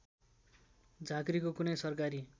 झाँक्रीको कुनै सरकारी